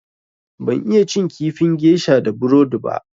Ban iya cin kifin gesha da burodi ba.